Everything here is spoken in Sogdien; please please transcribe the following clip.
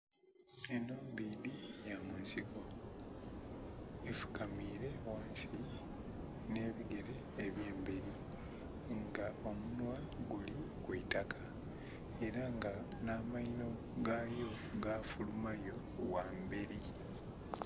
Enho mbidhi ya munsiko efukamire ghansi nhe bigere ebye mberi nga omunhwa guli kwitaka era nga nha amainho gayo ga fulumayo ghamberi.